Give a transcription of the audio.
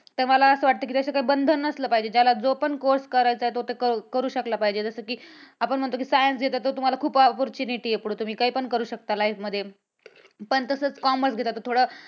तर मला असं वाटतं की असा बंधन नसलं पाहिजे. ज्याला जो पण course करायचा तो करू शकला पाहिजे. जसं कि आपण म्हणतो कि science घेतलं कि तुम्हाला खूप opportunity आहे पुढे तुम्ही काय पण करू शकता life मध्ये, पण तसंच commerce घेतलं तर थोडं